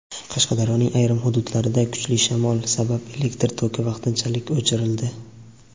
Qashqadaryoning ayrim hududlarida kuchli shamol sabab elektr toki vaqtinchalik o‘chirildi.